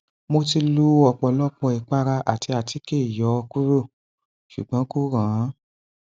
mo ti lo ọpọlọpọ ìpara àti àtíkè yọ ọ kúrò ṣùgbọn kò rànán